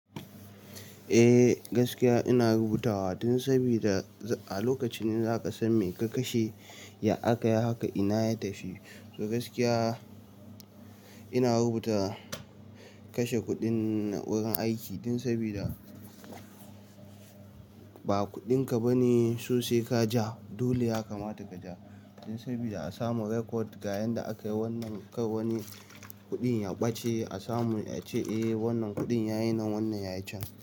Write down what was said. Eh gaskiya ina rubutawa dan sabida a lokacin ne zaka san me ka kashe ya aka yi haka ina ya tafi. To gaskiya ina rubuta kashe kuɗin wurin aiki dan sabida ba kuɗinka bane sosai ka ja dole ya kamata ka ja. Dan sabida a samu record ga yanda akayi wannan kai wani kuɗin ya ɓace a samu ace eh wannan kuɗin yayi nan wannan yayi can.